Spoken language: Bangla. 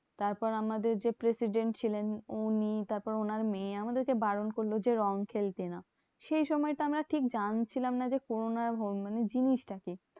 তারপর আমাদের যে president ছিলেন উনি তারপর ওনার মেয়ে আমাদেরকে বারণ করলো যে রং খেলতে না। সেই সময় তো আমরা ঠিক জানছিলাম না যে, corona মানে জিনিসটা কি?